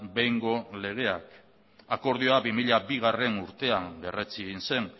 behingo legeak akordioa bi mila bigarrena urtean berretsi egin zen